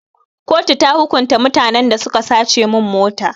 Kotu ta hukunta mutanen da suka sace min mota.